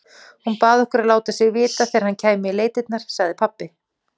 Hún bað okkur að láta sig vita þegar hann kæmi í leitirnar, sagði pabbi.